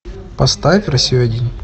поставь россию один